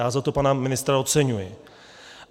Já za to pana ministra oceňuji.